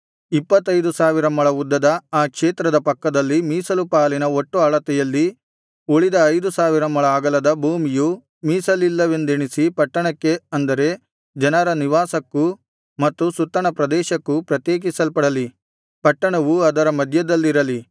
ಇಪ್ಪತ್ತೈದು ಸಾವಿರ ಮೊಳ ಉದ್ದದ ಆ ಕ್ಷೇತ್ರದ ಪಕ್ಕದಲ್ಲಿ ಮೀಸಲು ಪಾಲಿನ ಒಟ್ಟು ಅಳತೆಯಲ್ಲಿ ಉಳಿದ ಐದು ಸಾವಿರ ಮೊಳ ಅಗಲದ ಭೂಮಿಯು ಮೀಸಲಿಲ್ಲವೆಂದೆಣಿಸಿ ಪಟ್ಟಣಕ್ಕೆ ಅಂದರೆ ಜನರ ನಿವಾಸಕ್ಕೂ ಮತ್ತು ಸುತ್ತಣ ಪ್ರದೇಶಕ್ಕೂ ಪ್ರತ್ಯೇಕಿಸಲ್ಪಡಲಿ ಪಟ್ಟಣವು ಅದರ ಮಧ್ಯದಲ್ಲಿರಲಿ